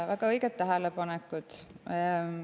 Väga õiged tähelepanekud.